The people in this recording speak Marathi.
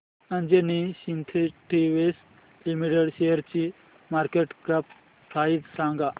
अंजनी सिन्थेटिक्स लिमिटेड शेअरची मार्केट कॅप प्राइस सांगा